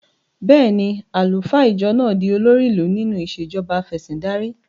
Bẹ́ẹ̀ ni, àlùfáà ìjọ máa di olórí ìlú nínú ìṣèjọba afẹ̀sìndarí.